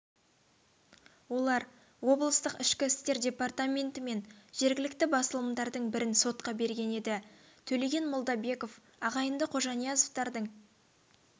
олар облыстық ішкі істер департаменті мен жергілікті басылымдардың бірін сотқа берген еді төлеген молдабеков ағайынды қожаниязовтардың